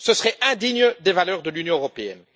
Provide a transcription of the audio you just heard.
Ce serait indigne des valeurs de l'Union européenne.